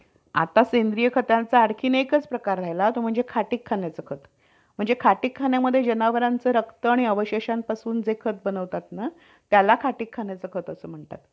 आता सेंद्रिय खताचा आणखी एकच प्रकार राहिला तो म्हणजे खाटीक खाण्याचं खत. म्हणजे खाटीक खाण्यामध्ये जनावरांचं रक्त आणि अवशेषांपासून जे खत बनवतात ना त्याला खाटीक खाण्याचं खत असं म्हणतात.